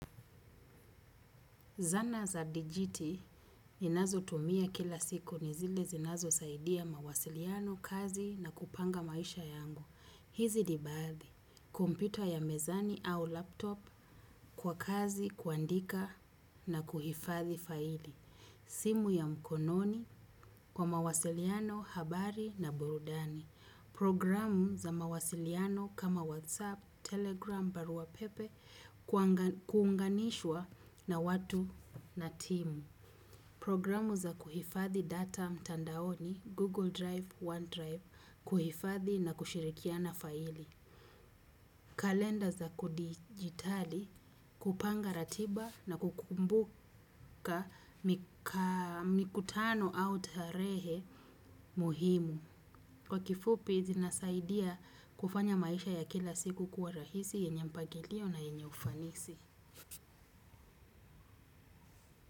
Zana za dijiti ninazo tumia kila siku nizile zinazo saidia mawasiliano, kazi na kupanga maisha yangu. Hizi ni baadhi, kompyuta ya mezani au laptop kwa kazi kuandika na kuhifadhi faili. Simu ya mkononi kwa mawasiliano, habari na burudani. Programu za mawasiliano kama WhatsApp, Telegram, barua pepe kuunganishwa na watu na timu. Programu za kuhifadhi data mtandaoni Google Drive, OneDrive kuhifadhi na kushirikiana faili. Kalenda za kudijitali kupanga ratiba na kukumbuka mikutano au tarehe muhimu. Kwa kifupi, zinasaidia kufanya maisha ya kila siku kuwa rahisi yenye mpagilio na yenye ufanisi.